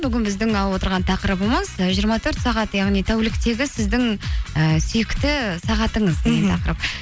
бүгін біздің алып отырған тақырыбымыз і жиырма төрт сағат яғни тәуліктегі сіздің ііі сүйікті сағатыңыз